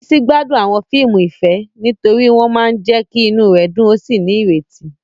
Bisi gbádùn àwọn fíìmù ìfẹ́ nítorí wọ́n máa ń jẹ́ kí inú rẹ̀ dùn ó sì ní ìrètí.